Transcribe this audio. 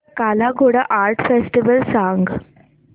काला Ghoda art festival सांग